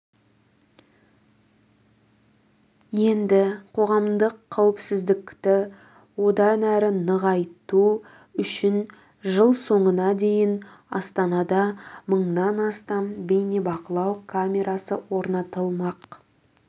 енді қоғамдық қауіпсіздікті одан әрі нығайту үшін жыл соңына дейін астанада мыңнан астам бейнебақылау камерасы орнатылмақ